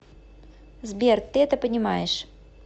сбер ты это понимаешь